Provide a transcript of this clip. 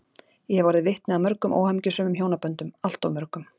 Ég hef orðið vitni að mörgum óhamingjusömum hjónaböndum, alltof mörgum.